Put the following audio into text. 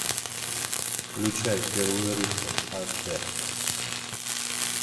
включай первый рыцарь аш д